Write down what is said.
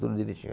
Tudo direitinho